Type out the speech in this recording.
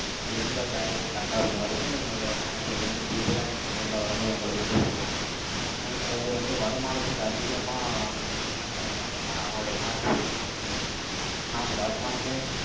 அஹ் எந்த package, correct ஆ இருக்குங்கிறது, எங்களுடைய manager வந்து, detail ஆ, நீங்க நேரிலே வரும்போது, உங்களுக்கு வந்து சொல்லுவாங்க. ஏன்னா சில பேர் வந்து, வருமானத்துக்கு அதிகமா, என்ன பண்ணிடுவாங்கன்னா, அவங்களுடைய policy அ வந்து, choose பண்ணி இருக்காங்க. ஆனா, அவங்க வருமானமே,